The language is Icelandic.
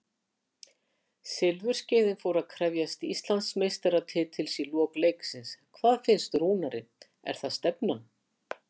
Silfurskeiðin fór að krefjast Íslandsmeistaratitils í lok leiksins, hvað finnst Rúnari, er það stefnan?